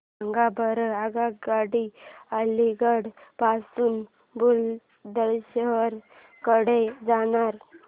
सांगा बरं आगगाड्या अलिगढ पासून बुलंदशहर कडे जाणाऱ्या